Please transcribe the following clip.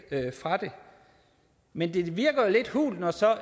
fra det men det klinger lidt hult når så